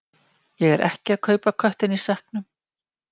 Ég er ekki að kaupa köttinn í sekknum.